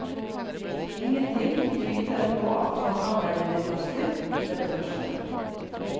Ingenting tyder på at samarbeidet vil ta slutt med det første.